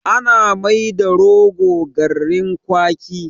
Ana mai da rogo garrin kwaki